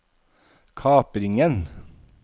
kapringen